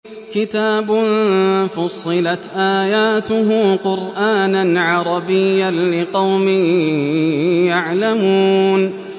كِتَابٌ فُصِّلَتْ آيَاتُهُ قُرْآنًا عَرَبِيًّا لِّقَوْمٍ يَعْلَمُونَ